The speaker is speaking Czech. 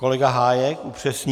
Kolega Hájek upřesní.